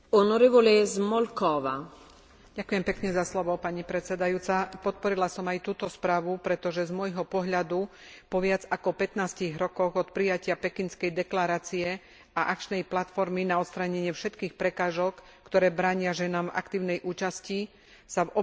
Podporila som aj túto správu, pretože z môjho pohľadu po viac ako pätnástich rokoch od prijatia Pekinskej deklarácie a akčnej platformy na odstránenie všetkých prekážok, ktoré bránia ženám v aktívnej účasti, sa v oblasti rodových stereotypov a rodovej nerovnosti nedosiahol veľký pokrok.